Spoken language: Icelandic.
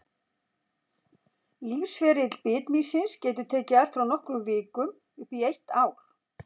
Lífsferill bitmýsins getur tekið allt frá nokkrum vikum upp í eitt ár.